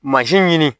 ɲini